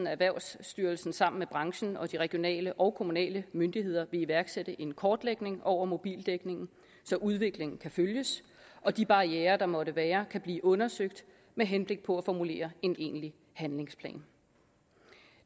erhvervsstyrelsen sammen med branchen og de regionale og de kommunale myndigheder vil iværksætte en kortlægning over mobildækningen så udviklingen kan følges og de barrierer der måtte være kan blive undersøgt med henblik på at formulere en egentlig handlingsplan